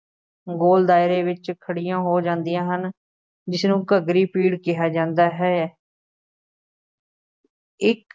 ਗੋਲ ਦਾਇਰੇ ਵਿੱਚ ਖੜ੍ਹੀਆਂ ਹੋ ਜਾਂਦੀਆਂ ਹਨ ਜਿਸਨੂੰ ਘੱਗਰੀ ਪੀੜ ਕਿਹਾ ਜਾਂਦਾ ਹੈ ਇੱਕ